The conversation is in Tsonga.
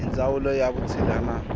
hi ndzawulo ya vutshila na